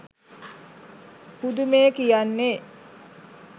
පුදුමේ කියන්නේ,